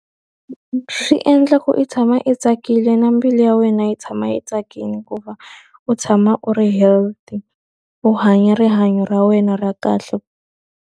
Swi endla ku i tshama i tsakile na mbilu ya wena yi tshama yi tsakile, ku va u tshama u ri healthy. U hanya rihanyo ra wena ra kahle.